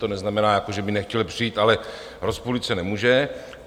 To neznamená, že by nechtěl přijít, ale rozpůlit se nemůže.